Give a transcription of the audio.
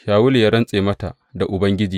Shawulu ya rantse mata da Ubangiji.